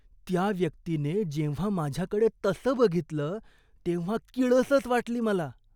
त्या व्यक्तीने जेव्हा माझ्याकडे तसं बघितलं तेव्हा किळसच वाटली मला.